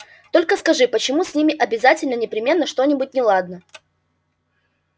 только скажи почему с ними обязательно непременно что-нибудь неладно